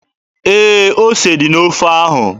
Ee, ose dị n'ofe ahụ.